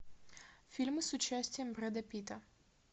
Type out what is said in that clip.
фильмы с участием брэда питта